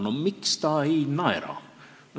No miks ta ei naera?